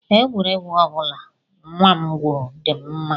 Egwuregwu ọ bụla nnwa m gwuru dị m mma